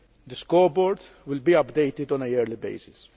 The scoreboard will be updated on a yearly basis.